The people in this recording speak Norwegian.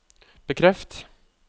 bekreft